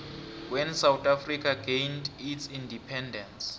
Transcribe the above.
when south africa gained its independence